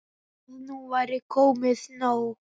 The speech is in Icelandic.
Að nú væri komið nóg.